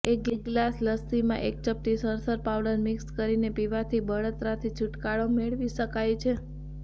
એક ગ્લાસ લસ્સીમાં એક ચપટી સરસવ પાઉડર મિક્ષ કરીને પીવાથી બળતરાથી છુટકારો મેળવી શકાય છે